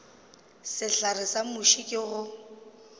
sehlare sa muši ke go